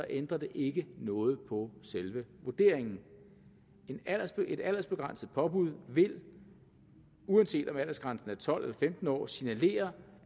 ændrer det ikke noget på selve vurderingen et aldersbegrænset påbud vil uanset om aldersgrænsen er tolv år femten år signalere